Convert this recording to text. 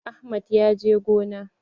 Ahmad ya je gona.